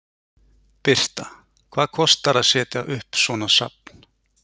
Birta: Hvað kostar að setja upp svona safn?